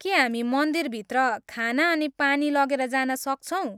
के हामी मन्दिरभित्र खाना अनि पानी लगेर जान सक्छौँ?